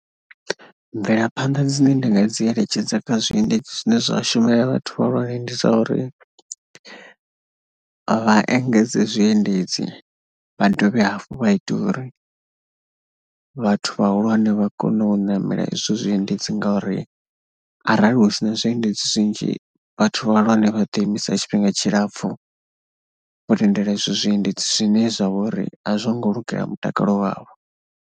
Mvelaphanḓa dzine ndi nga dzi eletshedza kha zwiendedzi zwine zwa shumela vhathu vhahulwane ndi dza uri vha engedze zwiendedzi, vha dovhe hafhu vha ite uri vhathu vhahulwane vha kone u ṋamela izwo zwiendedzi ngauri arali hu si na zwiendedzi zwinzhi vhathu vhahulwane vha ḓi imisa tshifhinga tshilapfhu vho lindela izwo zwiendedzi zwine zwa vha uri a zwo ngo lugela mutakalo wavho.